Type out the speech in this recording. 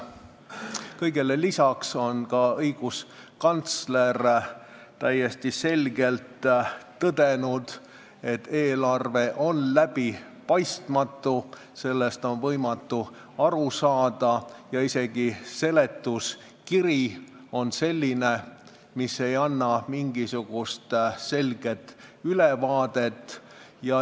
Kõigele lisaks on õiguskantsler täiesti selgelt tõdenud, et eelarve on läbipaistmatu, sellest on võimatu aru saada ja isegi seletuskiri on selline, mis ei anna mingisugust selget ülevaadet.